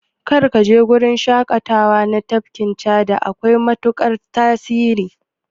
Kar kaje gurin shaƙatawa na tafkin Chadi, akwai matuƙar hatsari.